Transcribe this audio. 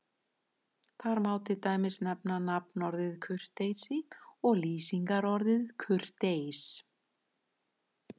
Þar má til dæmis nefna nafnorðið kurteisi og lýsingarorðið kurteis.